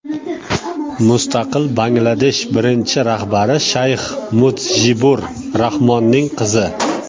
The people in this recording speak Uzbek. Mustaqil Bangladesh birinchi rahbari Shayx Mudjibur Rahmonning qizi.